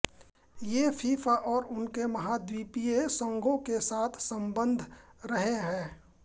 ये फीफा और उनके महाद्वीपीय संघों के साथ संबद्ध रहे हैं